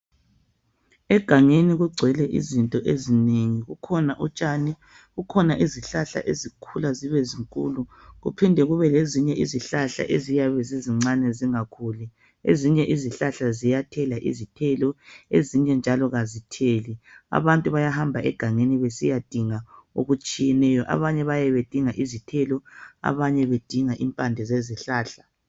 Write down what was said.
Egangeni kungcwele izinto ezinengi kukhona utshani kukhona izihlahla ezikhula zibe ezinkulu kuphinde kube lezihlahla ezincane zingakhuli ezinye izihlahla ziyathela izithelo ezinye njalo azitheli abantu bayahamba egangeni besiyadinga okutshiyeneyo abanye bayabe bedinga izithelo abanye bedinga impande zezihlahla